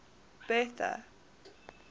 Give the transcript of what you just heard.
bertha